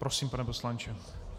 Prosím, pane poslanče.